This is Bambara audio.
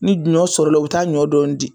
Ni ɲɔ sɔrɔla u bi taa ɲɔ dɔɔnin di.